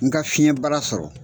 N ka fiɲɛ baara sɔrɔ.